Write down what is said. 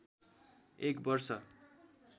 एक वर्ष